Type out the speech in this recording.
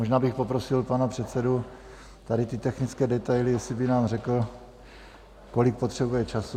Možná bych poprosil pana předsedu tady ty technické detaily, jestli by nám řekl, kolik potřebuje času.